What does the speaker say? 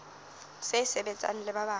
se sebetsang le ba bang